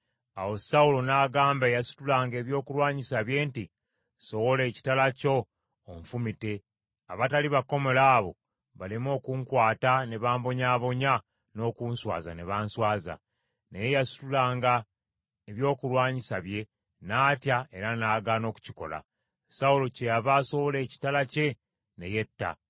Awo Sawulo n’agamba eyasitulanga ebyokulwanyisa bye nti, “Sowola ekitala kyo onfumite, abatali bakomole abo baleme okunkwata ne bambonyaabonya n’okunswaza ne banswaza.” Naye eyasitulanga ebyokulwanyisa bye n’atya era n’agaana okukikola. Sawulo kyeyava asowola ekitala kye ne yetta.